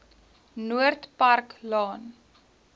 noord park laan